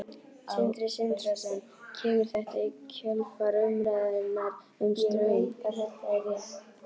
Sindri Sindrason: Kemur þetta í kjölfar umræðunnar um Straum?